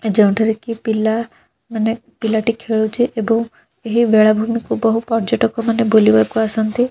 ଯେଉଁଠାରେ କି ପିଲା ମାନେ ପିଲାଟି ଖେଲୁଛି ଏବଂ ଏହି ବେଲାଭୂମିକୁ ବହୁ ପର୍ଯ୍ୟଟକମାନେ ବୁଲିବାକୁ ଆଛନ୍ତି ।